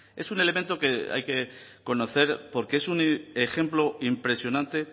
es un elemento que hay que conocer porque es un ejemplo impresionante